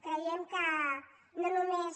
creiem que no només